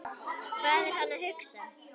Hvað er hann að hugsa?